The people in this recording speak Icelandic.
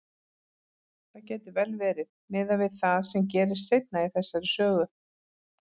Það gæti vel verið, miðað við það sem gerist seinna í þessari sögu.